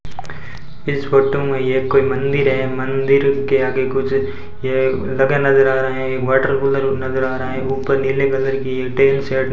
इस फोटो में यह कोई मंदिर है मंदिर के आगे कुछ यह लगा नजर आ रहे हैं एक वाटर कूलर नजर आ रहा है ऊपर नीले कलर की ये टीन शेड --